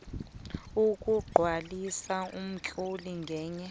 ukugcwalisa umtlolo ngenye